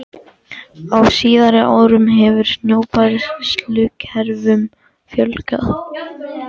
Á síðari árum hefur snjóbræðslukerfum fjölgað.